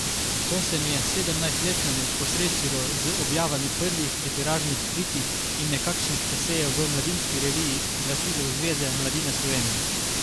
To se mi je sedemnajstletnemu posrečilo z objavami prvih literarnih kritik in nekakšnih esejev v Mladinski reviji, glasilu Zveze mladine Slovenije.